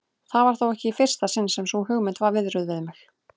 Það var þó ekki í fyrsta sinn sem sú hugmynd var viðruð við mig.